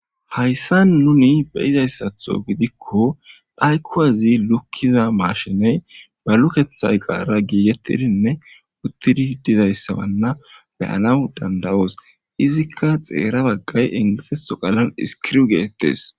Hayssa nuni beyizayssatho gidikko phaykuwazi lukkiza maashiney ba lukethay eqaara giigettidinne uttidi dizayssabanna beyanaw dandawoos. izikka xeera baggay ingifeso qalan iskiriw geettetees.